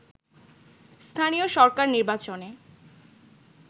স্থানীয় সরকার নির্বাচনে